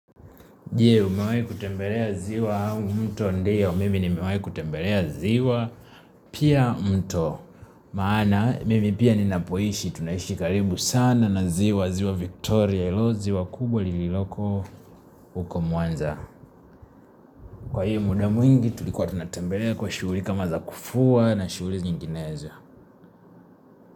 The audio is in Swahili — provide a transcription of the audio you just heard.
Je umewai kutembelea ziwa au mto? Ndio mimi ni nimewai kutembelea ziwa pia mto maana mimi pia ninapoishi tunaishi karibu sana na ziwa ziwa Victoria ilo ziwa kubwa lililoko huko muanza. Kwa hiyo muda mwingi tulikuwa tunatembelea kwa shughuli kama za kufua na shughuli nyinginezo.